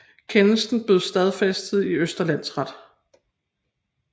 Kendelsen blev stadfæstet i Østre Landsret